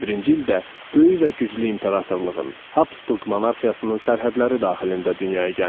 Böyük və güclü imperatorluğun Habsburg monarxiyasının sərhədləri daxilində dünyaya gəlmişəm.